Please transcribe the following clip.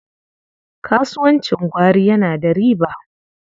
Kasuwancin gwari yana da riba.